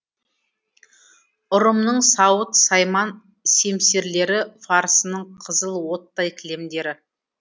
ұрымның сауыт сайман семсерлері фарсының қызыл оттай кілемдері